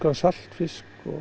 saltfisk